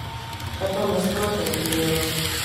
Kaj pa v nasprotnem primeru?